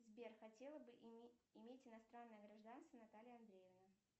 сбер хотела бы иметь иностранное гражданство наталья андреевна